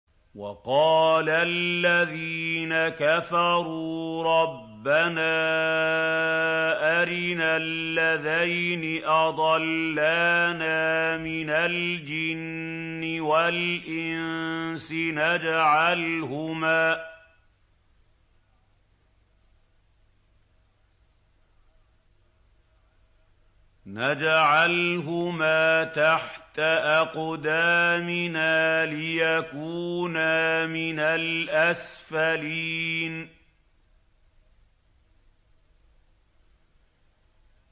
وَقَالَ الَّذِينَ كَفَرُوا رَبَّنَا أَرِنَا اللَّذَيْنِ أَضَلَّانَا مِنَ الْجِنِّ وَالْإِنسِ نَجْعَلْهُمَا تَحْتَ أَقْدَامِنَا لِيَكُونَا مِنَ الْأَسْفَلِينَ